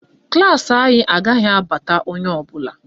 Klaasị anyị agaghị abata onye ọbụla